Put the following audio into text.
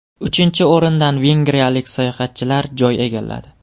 Uchinchi o‘rindan vengriyalik sayohatchilar joy egalladi.